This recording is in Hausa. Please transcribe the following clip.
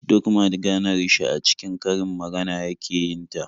Duk maganar shi a cikin karin magana yake yin ta.